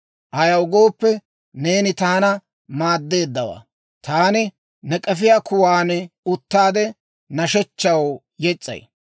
ayaw gooppe, neeni taana maadeeddawaa. Taani ne k'efiyaa kuwaan uttaade, nashshechchaw yes's'ay.